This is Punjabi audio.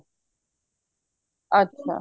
ਅੱਛਾ